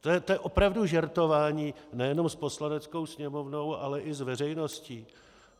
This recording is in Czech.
To je opravdu žertování nejenom s Poslaneckou sněmovnou, ale i s veřejností.